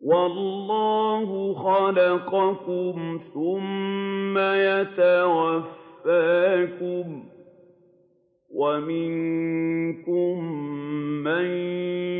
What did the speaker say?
وَاللَّهُ خَلَقَكُمْ ثُمَّ يَتَوَفَّاكُمْ ۚ وَمِنكُم مَّن